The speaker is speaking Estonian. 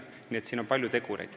Nii et siin on palju tegureid.